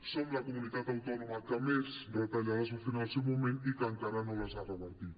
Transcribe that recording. som la comunitat autònoma que més retallades va fer en el seu moment i que encara no les ha revertit